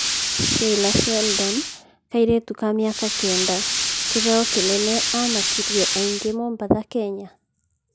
Sheila Sheldon:Kairĩtu ka miaka kenda kĩbeo kĩnene amakirie aingĩ Mombasa Kenya